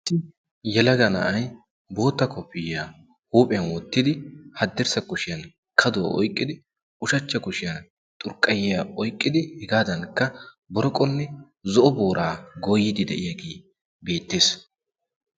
yalaga na'ay bootta kofiyaa huuphiyan woottidi haddirssa kushiyan kaduwaa oyqqidi ushachcha kushiyan xurqqayiya oyqqidi hegaadankka boroqonne zo'o booraa gooyidi de'iyaagee beettees